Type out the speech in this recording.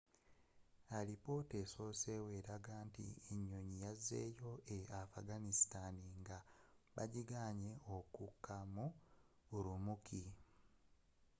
alipotta eyasosewo eraga nti enyonyi yazzeyo e afghanistan nga bagiganye okkuka mu ürümqi